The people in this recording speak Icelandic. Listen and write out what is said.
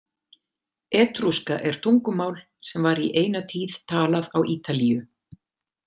Etrúska er tungumál sem var í eina tíð talað á Ítalíu.